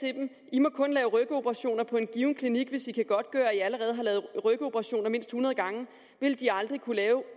’i må kun lave rygoperationer på en given klinik hvis i kan godtgøre at i allerede har lavet rygoperationer mindst hundrede gange’ ville de aldrig kunne lave